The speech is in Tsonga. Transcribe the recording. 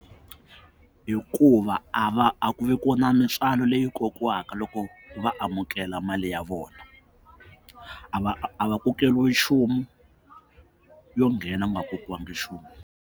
Hikuva a va a ku vi kona mitswalo leyi kokiwaka loko va amukela mali ya vona a va a va kokeriwi nchumu yo nghena ku nga kokiwangi nchumu.